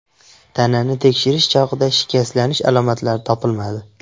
Tanani tekshirish chog‘ida shikastlanish alomatlari topilmadi.